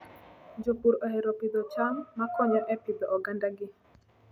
Jopur ohero pidho cham makonyo e pidho ogandagi.